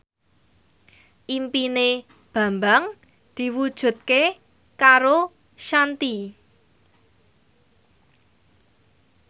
impine Bambang diwujudke karo Shanti